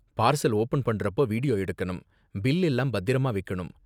Parcel open பண்றப்போ video எடுக்கணும், bill எல்லாம் பத்திரமா வைக்கணும்.